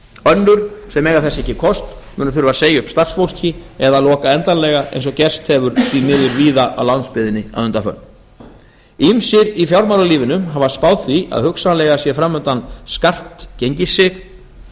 önnur sem eiga þess ekki kost munu þurfa að segja upp starfsfólki eða loka endanlega eins og gerst hefur því miður víða á landsbyggðinni að undanförnu ýmsir í fjármálalífinu hafa spáð því að hugsanlega sé framundan skarpt gengissig